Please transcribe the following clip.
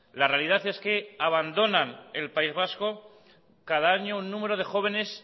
la realidad es que abandonan el país vasco cada año un número de jóvenes